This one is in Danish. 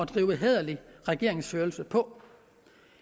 drive hæderlig regeringsførelse på